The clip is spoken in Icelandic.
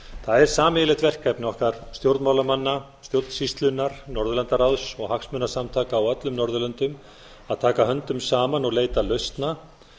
það er sameiginlegt verkefni okkar stjórnmálamanna stjórnsýslunnar norðurlandaráðs og hagsmunasamtaka á öllum norðurlöndum að taka höndum saman og leita lausna